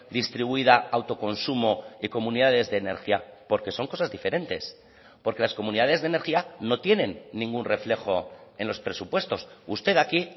distribuida autoconsumo y comunidades de energía porque son cosas diferentes porque las comunidades de energía no tienen ningún reflejo en los presupuestos usted aquí